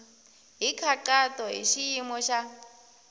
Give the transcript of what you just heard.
hi nkhaqato hi xiyimo xa